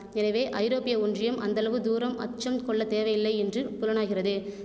எனவே ஐரோப்பிய ஒன்றியம் அந்தளவு தூரம் அச்சம் கொள்ள தேவையில்லை என்று புலனாகிறது